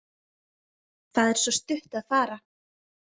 Það er svo stutt að fara.